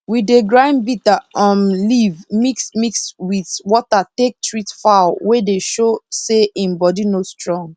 we dey grind bitter um leaf mix mix wit water take treat fowl wey dey sho say in body no strong